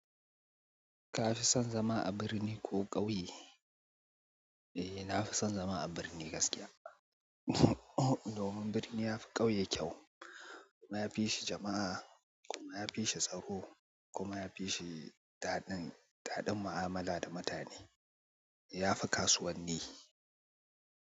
Ka fi son zama a birni ko ƙauye? Eh, na fi son zama a birni gaskiya. Domin birni ya fi ƙauye kyau kuma ya fi shi jama'a kuma ya fi shi tsaro kuma ya fi shi daɗin, daɗin mu'amala da mutane. Ya fi kasuwanni.